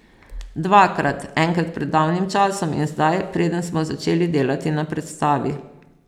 Dvakrat, enkrat pred davnim časom in zdaj, preden smo začeli delati na predstavi.